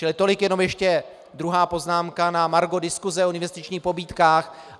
Čili tolik jenom ještě druhá poznámka na margo diskuse o investičních pobídkách.